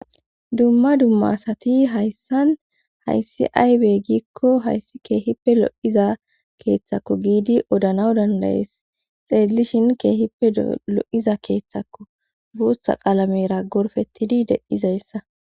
Dumma dumma asati hayssan hayssi aybey giikko hayssi keehippe lo7iza keeththakko giidi odanaw dandayees xeeydilishin keehippe lo7iza keeththakko buotha qalamera gorfettidi dedizayssa.